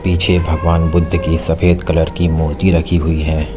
पीछे भगवान बुद्ध की सफेद कलर की मूर्ति रखी हुई है।